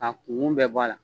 K'a kunkun bɛɛ bɔ a la